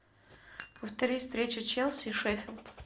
повтори встречу челси шеффилд